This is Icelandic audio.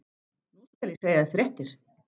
Nú skal ég segja þér fréttir!